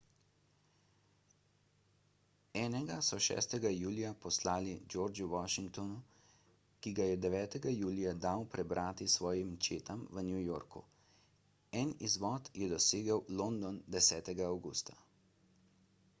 enega so 6 julija poslali georgu washingtonu ki ga je 9 julija dal prebrati svojim četam v new yorku en izvod je dosegel london 10 avgusta